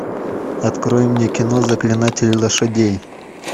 открой мне кино заклинатель лошадей